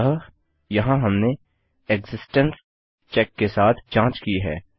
अतः यहाँ हमने एक्सिस्टेंस चेक के साथ जाँच की है